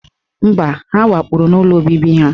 Mba, ha kwapụrụ n'ụlọ obibi ha